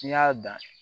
N'i y'a dan